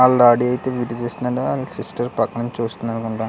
ఆళ్ళ డాడి అయితే వీడియో తీస్తున్నాడు. ఆళ్ళ సిస్టర్ పక్కనుంచి చూస్తుంది అనుకుంటా .